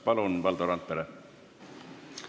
Palun, Valdo Randpere!